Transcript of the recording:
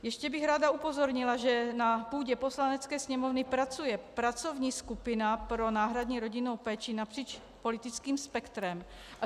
Ještě bych rád upozornila, že na půdě Poslanecké sněmovny pracuje pracovní skupina pro náhradní rodinnou péči napříč politickým spektrem.